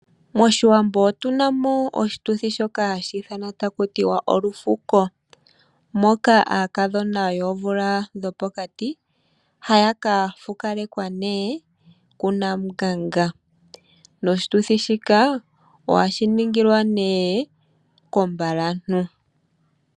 Moshiwambo otuna mo oshituthi shoka hashi ithanwa ta kutiwa olufuko, moka aakadhona yoomvula dhopokati haya kafukalekwa nee ku Namunganga. Noshituthi shika ohashi ningilwa nee kombalantu.